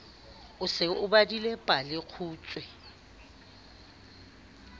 o se o badile palekgutshwe